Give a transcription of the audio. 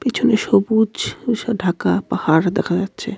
পিছনে সবুজ ঢাকা পাহাড় দেখা যাচ্ছে.